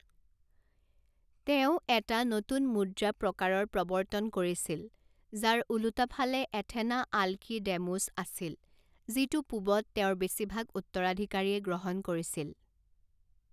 তেওঁ এটা নতুন মুদ্ৰা প্ৰকাৰৰ প্ৰৱৰ্তন কৰিছিল, যাৰ ওলোটা ফালে এথেনা আলকিডেমোচ আছিল, যিটো পূবত তেওঁৰ বেছিভাগ উত্তৰাধিকাৰীয়ে গ্ৰহণ কৰিছিল।